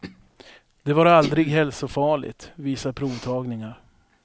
Det var aldrig hälsofarligt, visar provtagningar.